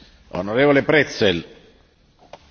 Herr Präsident, meine Damen und Herren!